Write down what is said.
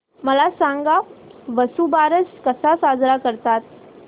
मला सांग वसुबारस कसा साजरा करतात